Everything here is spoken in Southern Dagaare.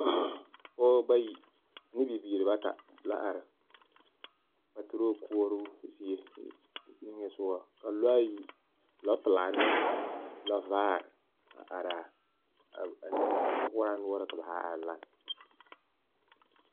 Pɔgebɔ bayi ne bibiiri bata la a are paturoo koɔroo zie niŋesogɔ. Ka lɔɛ ayi, lɔɔpelaa ane lɔɔvaare ka ba zaa are a ni…, sɔkoɔraa noɔre ka ba zaa are lanne.